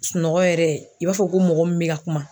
Sunɔgɔ yɛrɛ i b'a fɔ ko mɔgɔ min be ka kuma.